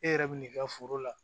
E yɛrɛ bi n'i ka foro la